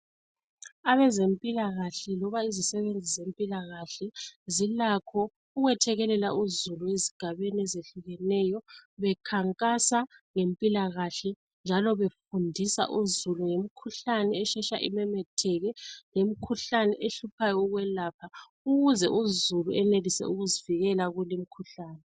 Abezempilakahle loba izisebenzi zempilakahle zilakho ukwethekelela uzulu ezigabeni ezehlukeneyo bakhankasa ngempilakahle njalo befundisa uzulu ngemikhuhlane eshesha imemetheke, ngemikhuhlane ehlupha ukwelapheka ukuze uzulu azivikele kulomkhuhlane.